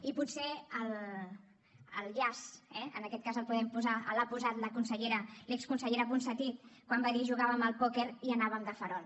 i potser el llaç en aquest cas el podem posar l’ha posat l’exconsellera ponsatí quan va dir jugàvem al pòquer i anàvem de farol